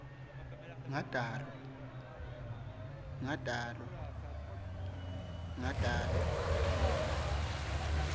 ngatalwa